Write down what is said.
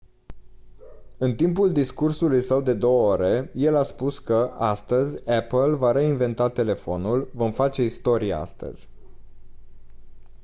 în timpul discursului său de 2 ore el a spus că «astăzi apple va reinventa telefonul vom face istorie astăzi».